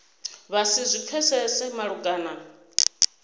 vha si zwi pfesese malugana